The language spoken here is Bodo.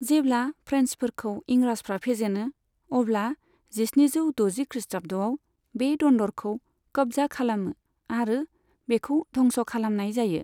जेब्ला फ्रेन्सफोरखौ इंराजफ्रा फेजेनो, अब्ला जिस्निजौ द'जि खृष्टाब्दआव बे दन्दरखौ कब्जा खालामो आरो बेखौ धंस खालामनाय जायो।